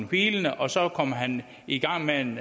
hvilende og så kommer han i gang med en